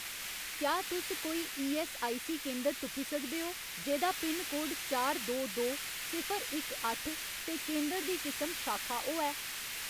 क्या तुस कोई ईऐस्सआईसी केंदर तुप्पी सकदे ओ जेह्‌दा पिनकोड चार दो दो सिफर इक अट्ठ ते केंदर दी किसम शाखा होऐ ?